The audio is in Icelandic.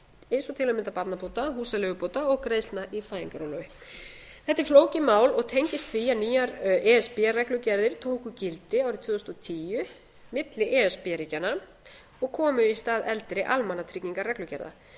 og til að mynda barnabóta húsaleigubóta og greiðslna í fæðingarorlofi þetta er flókið mál og tengist því að nýjar e s b reglugerðir tóku gildi árið tvö þúsund og tíu milli e s b ríkjanna og komu í stað eldri almannatryggingareglugerða fram